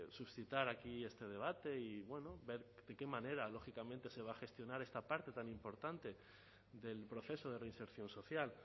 suscitar aquí este debate y bueno ver de qué manera lógicamente se va a gestionar esta parte tan importante del proceso de reinserción social